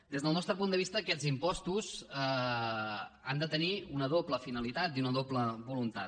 des del nostre punt de vista aquests impostos han de tenir una doble finalitat i una doble voluntat